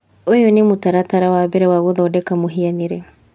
Ũyũ nĩ mũtaratara wa mbere wa gũthondeka mũhianĩre.